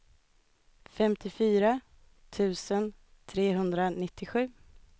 femtiofyra tusen trehundranittiosju